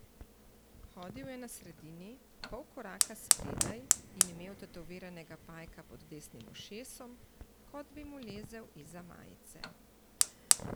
Hodil je na sredini, pol koraka spredaj in imel tetoviranega pajka pod desnim ušesom, kot bi mu lezel izza majice.